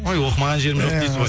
ой оқымаған жерім жоқ дейсіз ғой